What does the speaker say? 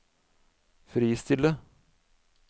fristille